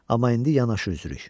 Amma indi yanaşı üzürük.